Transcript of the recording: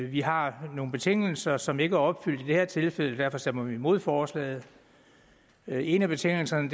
vi har nogle betingelser som ikke er opfyldt i det her tilfælde og derfor stemmer vi imod forslaget en af betingelserne